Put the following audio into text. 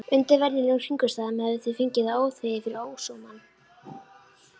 Undir venjulegum kringumstæðum hefðu þeir fengið það óþvegið fyrir ósómann.